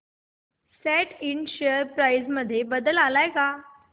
सॅट इंड share price मध्ये बदल आलाय का